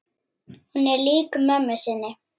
Hún er lík mömmu sinni.